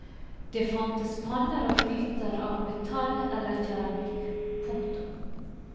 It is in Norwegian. Det fantes panner og gryter av metall eller keramikk. punktum